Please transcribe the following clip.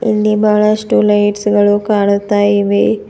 ಇಲ್ಲಿ ಬಾಳಷ್ಟು ಲೈಟ್ಸ್ ಗಳು ಕಾಣಿಸ್ತಾ ಇವೆ.